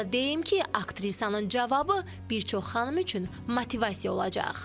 Onu da deyim ki, aktrisanın cavabı bir çox xanım üçün motivasiya olacaq.